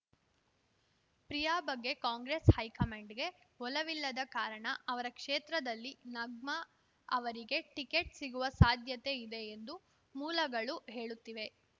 ಪ್ರಿಯಾ ಬಗ್ಗೆ ಕಾಂಗ್ರೆಸ್‌ ಹೈಕಮಾಂಡ್‌ಗೆ ಒಲವಿಲ್ಲದ ಕಾರಣ ಅವರ ಕ್ಷೇತ್ರದಲ್ಲಿ ನಗ್ಮಾ ಅವರಿಗೆ ಟಿಕೆಟ್‌ ಸಿಗುವ ಸಾಧ್ಯತೆ ಇದೆ ಎಂದು ಮೂಲಗಳು ಹೇಳುತ್ತಿವೆ